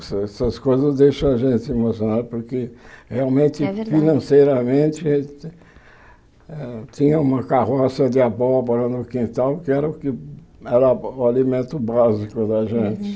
Essas essas coisas deixam a gente emocionado, porque realmente, É verdade Financeiramente, eh tinha uma carroça de abóbora no quintal, que era o que era o alimento básico da gente. Uhum